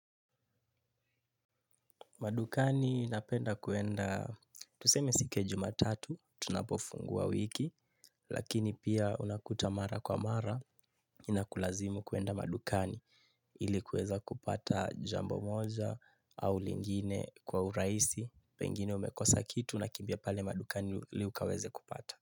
Madukani napenda kuenda, tuseme siku juma tatu, tunapofungua wiki, lakini pia unakuta mara kwa mara, inakulazimu kuenda madukani ili kuweza kupata jambo moja au lingine kwa urahisi, pengine umekosa kitu unakimbia pale madukani ili ukaweze kupata.